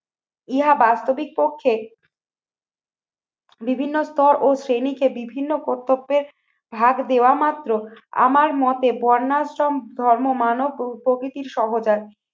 ইহা বাস্তবিক পক্ষে বিভিন্ন স্তর ও শ্রেণীকে বিভিন্ন কর্তব্যের ভাগ দেওয়া মাত্র আমার মতে বন্যাশ্রম ধর্ম মানব ও প্রকৃতির